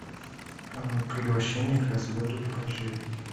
приглашение к разводу покажи